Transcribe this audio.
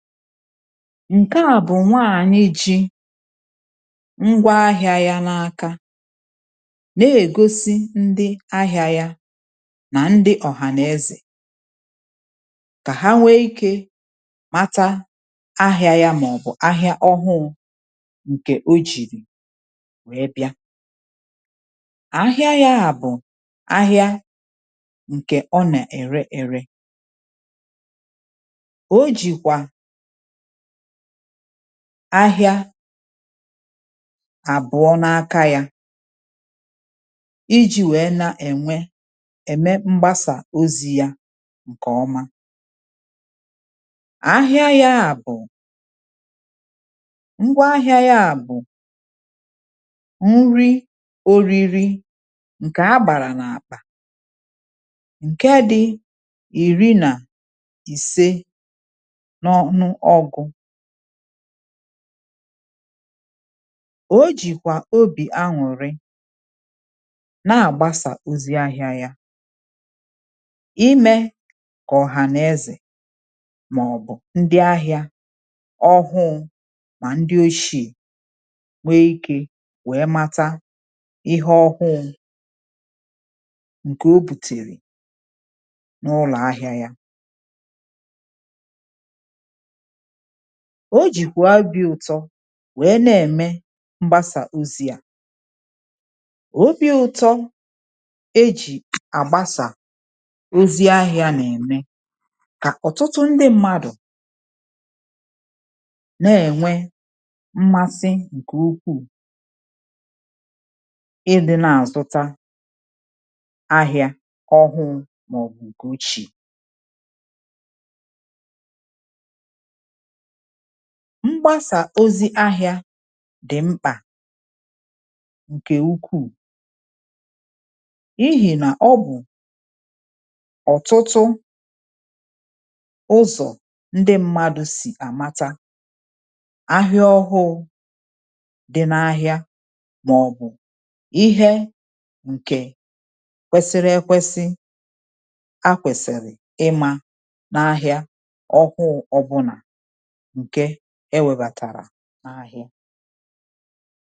Nke à bụ̀ nwaànyị ji ngwa ahịa yȧ n’aka, na-ègosi ndị ahịa yȧ, nà ndị ọ̀hànàezè kà ha nwee ikė màta ahịa yȧ, mà ọ̀ bụ̀ ahịa ọhụụ ǹkè o jìrì wee bịa. Ahịa yȧ à bụ̀, ahịa ǹkè ọ nà-ère ère. o jìkwà ahịa àbụọ n’aka ya, iji nwèe na-ènwe, ème mgbasà ozi ya ǹkè ọma. Ahịa yȧ bụ̀, ngwa ahịa yȧ bụ̀, nri oriri ǹkè a gbàrà n’àkpà, ǹke dị iri na isė n'ọnu ọgu. O jìkwà obì anwụ̀rị na-àgbasà ozi ahịa yȧ, imė kà ọ̀hàna ezè màọ̀bụ̀ ndị ahịȧ ọhụụ, mà ndị oshi̇e nwe ikė wee mata ihe ọhụụ ǹkè o bùtèrè n’ụlọ̀ ahịa yȧ. O jìkwà abị ụ̇tọ wee na-ème mgbasa ozi à. Obi ụtọ̇ e jì àgbasa ozi ahịȧ n’ème kà ọ̀tụtụ ndị mmadụ̀ na-ènwe mmasị ǹkè ukwuu ịdị̇ na-azụta ahịȧ ọhụụ mà ọ bụ̀ ǹkè ochìe. Mgbasa ozi ahịa dị mkpà ǹkè ukwuù, n'ihi nà ọ bụ̀ ọ̀tụtụ ụzọ̀ ndị mmadụ̇ sì àmata ahịa ọhụụ dị n’ahịa màọ̀bụ̀ ihe ǹkè kwesiri ekwesi, ha kwèsìrì ịmȧ n’ahịa ọkwụ ọ bụlà nkè e nwèbatara n’ahịa.